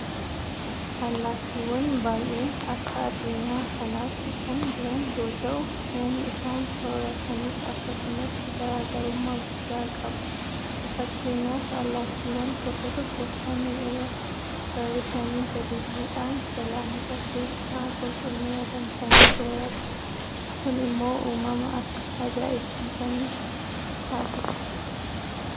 Allaattiiwwan baay'een akka addunyaa kanaatti kan jiran yoota'u; Nyaanni isaan soorratanis akkasumatti garaa garummaa guddaa qaba. Fakkeenyaaf allattiiwwan tokko tokko samii irraa barrisanii gadi bu'uudhaan galaanota keessaa Qurxummii adamsanii soorratu. Kun immoo uumama akka ajaa'ibsiifannu nutaasisa.